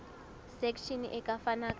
section e ka fana ka